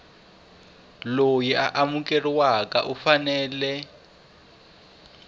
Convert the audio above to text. loyi a amukeriweke u fanele